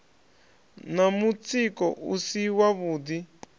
na mutsiko u si wavhuḓi